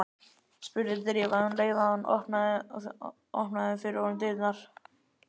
spurði Drífa um leið og hún opnaði fyrir honum dyrnar.